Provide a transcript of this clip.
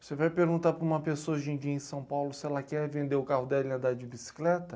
Você vai perguntar para uma pessoa hoje em dia em São Paulo se ela quer vender o carro dela e andar de bicicleta?